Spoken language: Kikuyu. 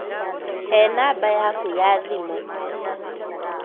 He namba yaku ya thimũ